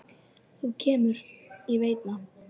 Þú kemur, ég veit það.